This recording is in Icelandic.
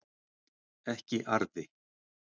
ekki arði